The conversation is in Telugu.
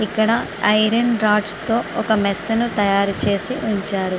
ఇక్కడ ఐరన్ రాడ్స్ తో ఒక మెస్ ని తయారు చేసి ఉంచారు.